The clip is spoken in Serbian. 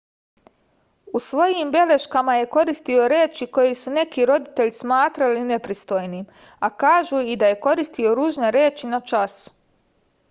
u svojim beleškama je koristio reči koje su neki roditelji smatrali nepristojnim a kažu i da je koristio ružne reči na času